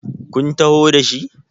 kun taho da shi?